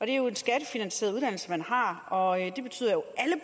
det er jo en skattefinansieret uddannelse man har og det betyder